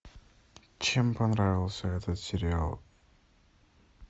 чем понравился этот сериал